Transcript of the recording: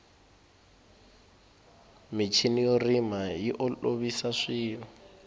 michini yo rima yi olovisa swilo